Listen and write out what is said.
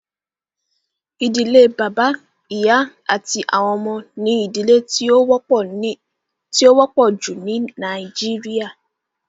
Ìdílé bàbá, ìyá, àti àwọn ọmọ ní ìdílé tí ó wọ́pọ̀ jù ní nàìjíría